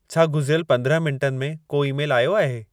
छा गुज़िरियल पंदिरहं मिंटनि में को ई-मेलु आयो आहे